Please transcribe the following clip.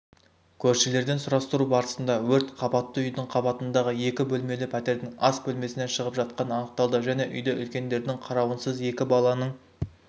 көршілерден сұрастыру барысында өрт қабатты үйдің қабатындағы екі бөлмелі пәтердің ас бөлмесінен шығып жатқаны анықталды және үйде үлкендердің қарауынсыз екі баланың